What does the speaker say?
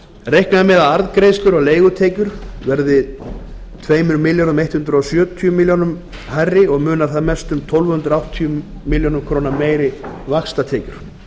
reiknað er með að arðgreiðslur og leigutekjur verði tvö þúsund hundrað sjötíu milljónum króna hærri og munar þar mest um tólf hundruð áttatíu milljónir króna meiri vaxtatekjur